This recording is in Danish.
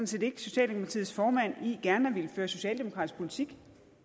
set ikke socialdemokratiets formand i gerne at ville føre socialdemokratisk politik